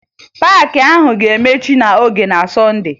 Paakị ahụ ga-emechi n'oge na Sọnde